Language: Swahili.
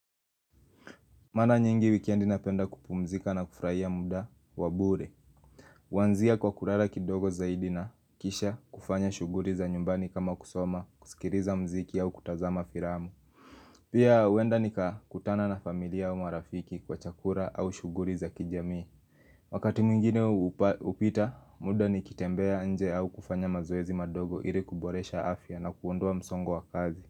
Maana nyingi wikendi napenda kupumzika na kufraia muda wa bure Waanzia kwa kulala kidogo zaidi na kisha kufanya shughuli za nyumbani kama kusoma kusikiliza mziki au kutazama filamu Pia huenda nikakutana na familia au marafiki kwa chakula au shughuli za kijamii Wakati mwingine hupita muda nikitembea nje au kufanya mazoezi madogo ili kuboresha afya na kuondoa msongo wa kazi.